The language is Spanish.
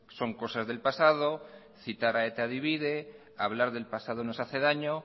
son cosas del pasado citar a eta divide hablar del pasado nos hace daño